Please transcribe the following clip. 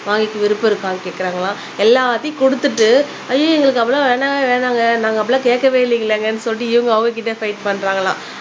வாங்கிக்க விருப்பம் இருக்கானு கேக்குறாங்களாம் எல்லாத்தையும் குடுத்துட்டு ஐயையோ எங்களுக்கு அப்பிடிலாம் வேணவே வேணாம்ங்க நாங்க அப்பிடிலாம் கேக்கவே இல்லங்களேங்கனு சொல்லிட்டு இவங்க அவங்கக்கிட்ட ஃபைட் பண்றாங்களாம்